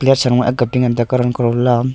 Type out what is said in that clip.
left sangma akga te karang laom--